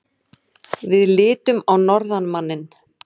Við litum á norðanmanninn.